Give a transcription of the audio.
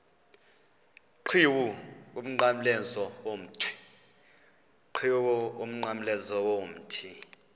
qhiwu umnqamlezo womthi